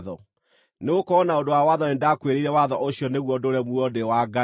Nĩgũkorwo na ũndũ wa watho nĩndakuĩrĩire watho ũcio nĩguo ndũũre muoyo ndĩ wa Ngai.